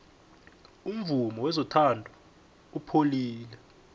umvumo wezothando upholile